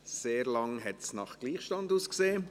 Sehr lange sah es nach Gleichstand aus.